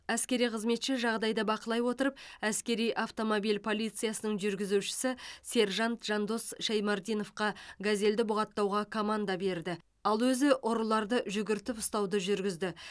әскери қызметші жағдайды бақылай отырып әскери автомобиль полициясының жүргізушісі сержант жандос шаймардиновқа газелді бұғаттауға команда берді ал өзі ұрыларды жүгіртіп ұстауды жүргізді